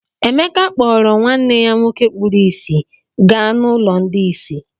Emeka kpọọrọ nwanne ya nwoke kpuru ìsì gaa n’ụlọ ndị ìsì.